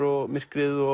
myrkrið og